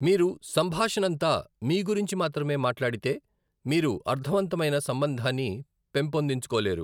మీరు సంభాషణంతా మీ గురించి మాత్రమే మాట్లాడితే, మీరు అర్ధవంతమైన సంబంధాన్ని పెంపొందించుకోలేరు.